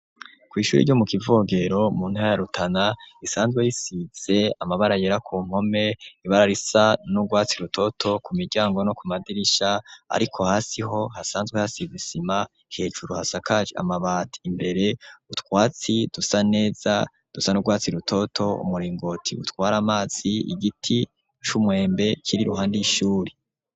Ku shuri ryo mu Kivogero mu ntara ya Rutana risanzwe risize amabara yera ku mpome ibara risa n'urwatsi rutoto ku miryango no ku madirisha ariko hasi ho hasanzwe hasize isima hejuru hasakajwe amabati imbere utwatsi dusa neza dusa n'urwatsi rutoto umuringoti utwara amazi igiti c'umwembe kiri iruhande y'ishuri.